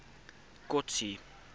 kotsi